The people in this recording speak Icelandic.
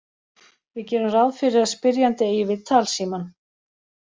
Við gerum ráð fyrir að spyrjandi eigi við talsímann.